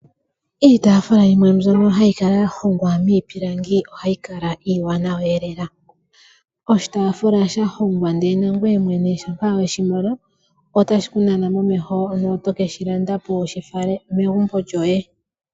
Iitafula yimwe mbyono hayi kala ya hongwa miipilangi, ohayi kala iiwanawana lela oshitafula sha hongwa ndele nangoye ngele oweshi mono otashiku nana momeho eto keshi landa po wu shi fale kegumbo lyoye.